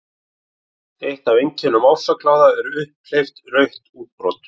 Eitt af einkennum ofsakláða eru upphleypt rauð útbrot.